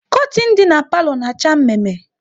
Kortin dị n'palo na acha mme mme